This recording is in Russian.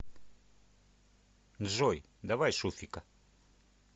джой давай шуфика